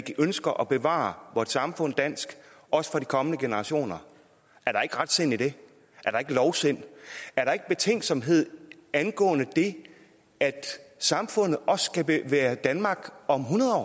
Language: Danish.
ønsker at bevare vort samfund dansk også for de kommende generationer er der ikke retsind i det er der ikke lovsind er der ikke betænksomhed angående det at samfundet også skal være danmark om hundrede